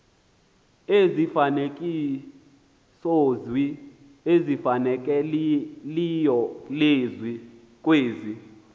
izifanekisozwi ezifanelekileyo kwezi